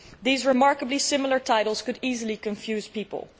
These remarkably similar titles could easily confuse people.